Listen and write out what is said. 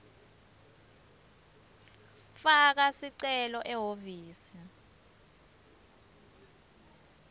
faka sicelo ehhovisi